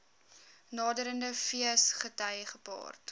naderende feesgety gepaard